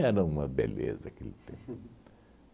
uma beleza aquele tempo